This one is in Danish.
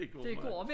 Det går meget